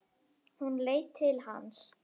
Hún leit til hans.